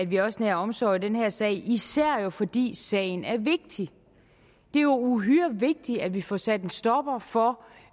vi også nærer omsorg i den her sag især fordi sagen er vigtig det er jo uhyre vigtigt at vi får sat en stopper for